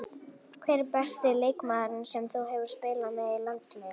Hver er besti leikmaðurinn sem þú hefur spilað með í landsliðinu?